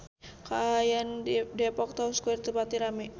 Kaayaan di Depok Town Square teu pati rame